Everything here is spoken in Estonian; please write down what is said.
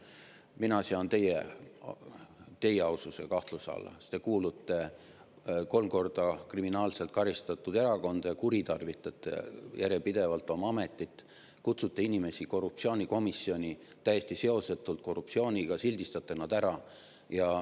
Mina sean teie aususe kahtluse alla, sest te kuulute kolm korda kriminaalselt karistatud erakonda ja kuritarvitate järjepidevalt oma ametit, kutsute inimesi korruptsioonikomisjoni täiesti seosetult korruptsiooniga, sildistate nad ära.